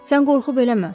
Sən qorxub eləmə.